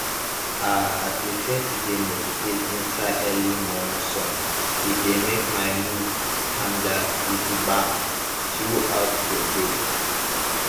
ah i prefer to dey meditate inside early momo sun e dey make my mood tanda gidigba throughout the day